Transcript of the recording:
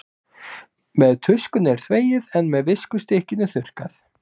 Með tuskunni er þvegið en með viskustykkinu þurrkað.